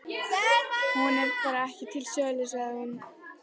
Hún er bara ekki til sölu, sagði hún.